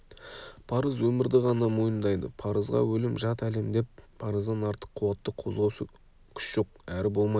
парыз өмірді ғана мойындайды парызға өлім жат әлемде парыздан артық қуатты қозғаушы күш жоқ әрі болмайды